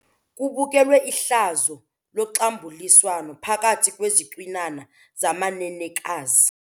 Kubukelwe ihlazo loxambuliswano phakathi kwezicwinana zamanenekazi.